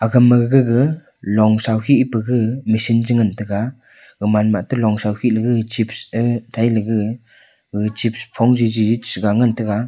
kam ma gaga long shau khi pa gag michine cha ngantaga gamanma atte longshau khiley gag chips ee thailey gag gaga chips phong jiji chiga ngantaga.